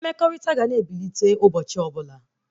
Mmekọrịta ga na-ebilite ụbọchị ọbụla